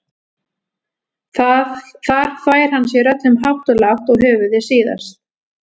Þar þvær hann sér öllum hátt og lágt og höfuðið síðast.